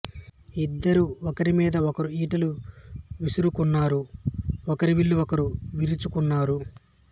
ఇద్దరూ ఒకరి మీద ఒకరు ఈటెలు విసురుకున్నారు ఒకరి విల్లు ఒకరు విరుచుకున్నారు